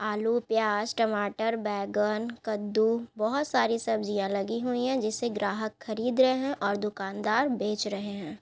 आलू पियाज टमाटर बेगन कद्दू बहुत सारी सब्जियां लगी हुई है जिसे ग्राहक खरीद रहे है ओर दुकानदार बेच रहे है ।